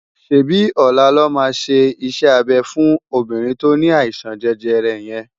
ṣébi ólá lò má ṣé isè-ábé fún óbirin tó ni áisan jèjèrè yén